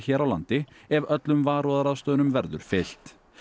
hér á landi ef öllum varúðarráðstöfunum verður fylgt